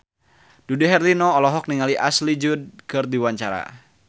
Dude Herlino olohok ningali Ashley Judd keur diwawancara